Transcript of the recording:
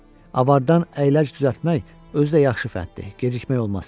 Avardan əyləc düzəltmək özü də yaxşı fəndir, gecikmək olmaz.